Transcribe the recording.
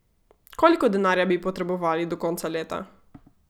Koliko denarja bi potrebovali do konca leta?